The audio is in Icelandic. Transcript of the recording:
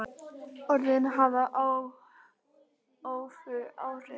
Orðin hafa öfug áhrif.